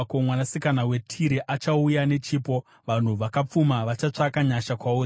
Mwanasikana weTire achauya nechipo, vanhu vakapfuma vachatsvaka nyasha kwauri.